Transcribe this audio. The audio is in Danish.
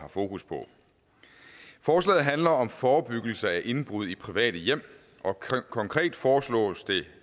har fokus på forslaget handler om forebyggelse af indbrud i private hjem og konkret foreslås det